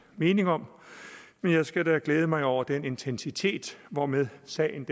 mening om men jeg skal da glæde mig over den intensitet hvormed sagen